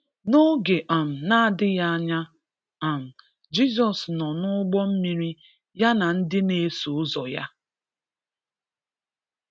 N’oge um na-adịghị anya, um Jizọs nọ n’ụgbọ mmiri ya na ndị na-eso ụzọ ya.